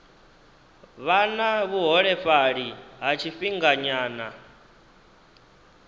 vha na vhuholefhali ha tshifhinganyana